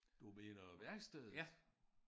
Du mener værkstedet?